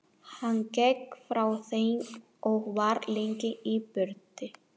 Hann gekk frá þeim og var lengi í burtu.